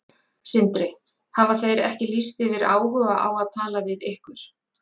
Sindri: Hafa þeir ekki lýst yfir áhuga á að tala við ykkur?